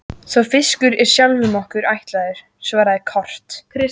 Sá fiskur er sjálfum okkur ætlaður, svaraði Kort.